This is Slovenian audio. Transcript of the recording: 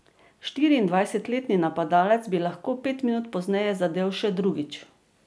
Štiriindvajsetletni napadalec bi lahko pet minut pozneje zadel še drugič.